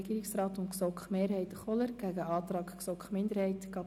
Regierungsrat/ GSoK-Mehrheit gegen den Antrag GSoK-Minderheit vor.